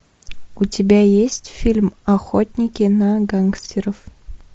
у тебя есть фильм охотники на гангстеров